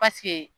Paseke